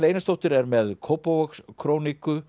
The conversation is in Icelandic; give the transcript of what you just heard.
Einarsdóttir er með